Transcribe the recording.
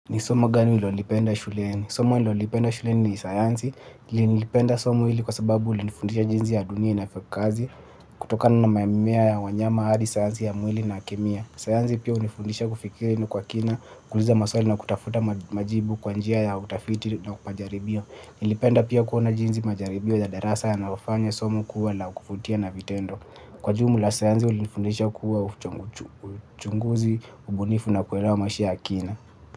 Ni somo gani ulilolipenda shuleni? Somo nililolipenda shuleni ni sayansi. Nililipenda somo hili kwa sababu lilinifundisha jinsi dunia inavyofanya kazi. Kutoka mimea na wanyama hadi sayansi ya mwili na kemia. Sayansi pia hunifundisha kufikiri kwa kina, kuuliza maswali na kutafuta majibu kwa njia ya utafiti na majaribio. Nilipenda pia kuona jinsi majaribio ya darasa yanavyofanya somo kuwa la kuvutia na vitendo. Kwa jumla, sayansi ilinifundisha kuwa uchunguzi, ubunifu na kuelewa maisha ya kina.